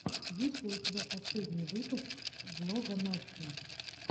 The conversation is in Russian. есть ли у тебя последний выпуск влога насти